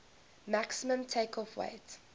maximum takeoff weight